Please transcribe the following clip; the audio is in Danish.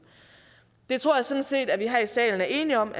det tror jeg sådan set vi her i salen er enige om